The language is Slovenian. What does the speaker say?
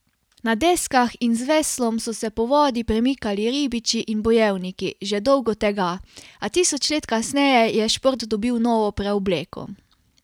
Na deskah in z veslom so se po vodi premikali ribiči in bojevniki že dolgo tega, a tisoč let kasneje je šport dobil novo preobleko.